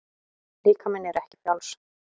Líkaminn er ekki frjáls.